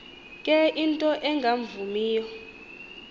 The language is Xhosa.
ke into engavumiyo